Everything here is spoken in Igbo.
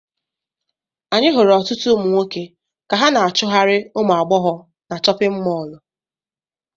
Anyị hụrụ ọtụtụ ụmụ nwoke ka ha na-achụgharị ụmụ agbọghọ na chọpịn mọọlụ.